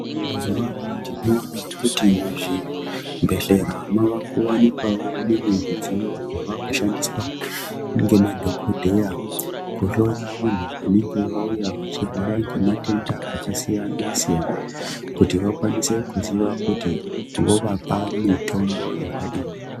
Mazuva ano tinoona kuti muzvibhedhlera mavakuwanikwawo mimwe midziyo yavakushandiswa ngemadhogodheya kuhloya vantu vanenge vauya vachirwara ngematenda akasiyana-siyana. Kuti vakwanise kuziva kuti vovapa mitombo yakadini.